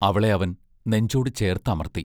അവളെ അവൻ നെഞ്ചോടു ചേർത്ത് അമർത്തി.